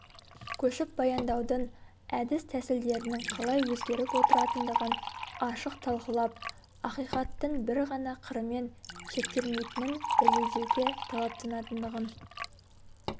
көшіп баяндаудың әдіс-тәсілдерінің қалай өзгеріп отыратындығын ашық талқылап ақиқаттың бір ғана қырымен шектелмейтінін дәлелдеуге талаптанатындығын